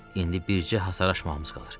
İndi bircə hasar aşmağımız qalır.